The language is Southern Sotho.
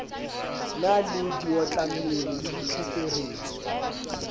na le diotlammele le ditlheferetsi